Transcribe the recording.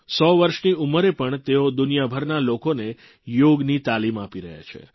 100 વર્ષની ઉંમરે પણ તેઓ દુનિયાભરના લોકોને યોગની તાલીમ આપી રહ્યા છે